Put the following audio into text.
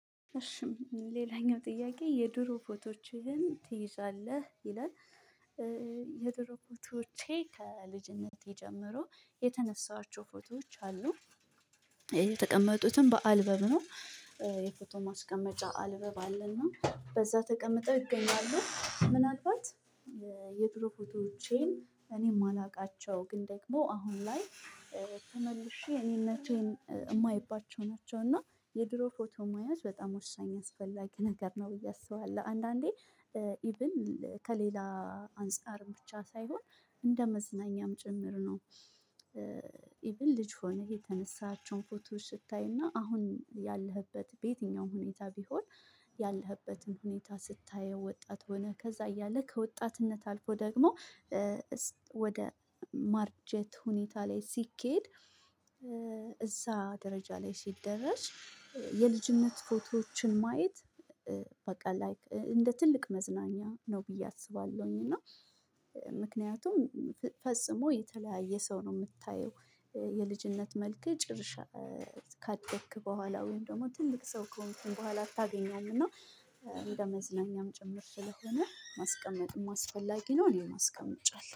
እሺም ሌላኛው ጥያቄ የዱሮ ፎቶዎችህን ትይዛለህ ይላል የዱሮ ፎቶዎቼ ከልጅነቴ ጀምሮ የተነሳኋቸው ፎቶዎች አሉ የተቀመጡትም በአልበብ ነው፤ የፎቶ ማስቀመጫ አልበብ አለና በዛ ተቀምጠው ይገኛሉ ምን አልባት የጥሩ ፎቶዎቼን እኔም የማላውቃቸው ግን ደግሞ አሁን ላይ ተመልሼ እኔነቴን የማይባቸው ናቸው እና የድሮ ፎቶ መያዝ በጣም ወሳኝ አስፈላጊ ነገር ነው ብዬ አስባለሁ አንዳንዴ ኢቭን ከሌላ አንፃር ብቻ ሳይሆን እንደ መዝናኛም ጭምር ነው፤ ኢቭን ልጅ ሆኘ የተነሳሃቸውን ፎቶ ስታይና አሁን ያለህበት በየትኛውም ሁኔታ ቢሆን ያለህበትን ሁኔታ ስታየው ወጣት ሆነህ ከዛ እያለ ከወጣትነት አልፎ ደግሞ ወደ ማርጀት ሁኔታ ላይ ሲኬድ እዛ ደረጃ ላይ ሲደረስ የልጅነት ፎቶዎችን ማየት በቃ ላይክ እንደ ትልቅ መዝናኛ ነው ብዬ አስባለሁኝ እና ምክንያቱም ፈጽሞ የተለያየ ሰው ነው የምታየው የልጅነት መልክህ ጭርሻ ካደክ በኋላ ወይም ደግሞ ትልቅ ሰው ከሆንክ በኋላ አታገኘውም እና እንደ መዝለኛም ጭምር ስለሆነ ማስቀመጥም አስፈላጊ ነው እኔም አስቀምጫለሁ።